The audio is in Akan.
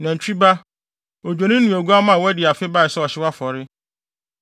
nantwi ba, odwennini ne oguamma a wadi afe bae sɛ ɔhyew afɔre;